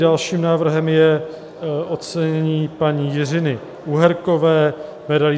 Dalším návrhem je ocenění paní Jiřiny Uherkové medailí